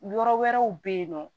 Yɔrɔ wɛrɛw bɛ yen nɔ